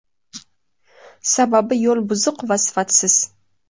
Sababi yo‘l buzuq va sifatsiz.